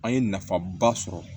An ye nafaba sɔrɔ